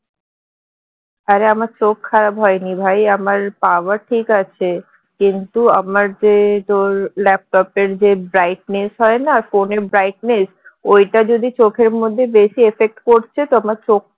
আরে আমার চোখ খারাপ হয়নি ভাই আমার power ঠিক আছে কিন্তু আমার যে তোর laptop এর যে brightness হয় না phone এর brightness ঐটা যদি চোখের মধ্যে বেশি effect করছে তো আমার চোখটা